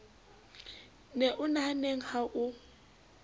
ne o nahanneng ha o